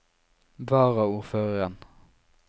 varaordføreren